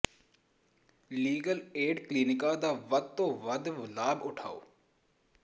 legal aid ਕਲੀਨਿਕਾਂ ਦਾ ਵੱਧ ਤੋਂ ਵੱਧ ਲਾਭ ਉਠਾਉ